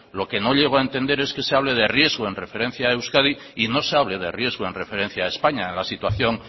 lo que no llego a entender es que se hable de riesgo en referencia a euskadi y no se hable de riesgo en referencia a españa en la situación